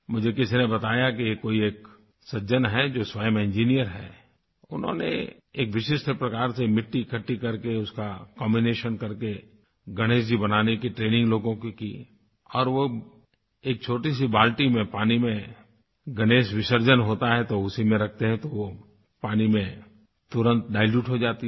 मुझे किसी ने बताया कि कोई एक सज्जन हैं जो स्वयं इंजिनियर हैं उन्होंने एक विशिष्ट प्रकार से मिट्टी इकट्ठी करके उसका कॉम्बिनेशन करके गणेश जी बनाने की ट्रेनिंग लोगों की और वो एक छोटी से बाल्टी में पानी में गणेश विसर्जन होता है तो उसी में रखते हैं तो पानी में तुरंत दिलुते हो जाती है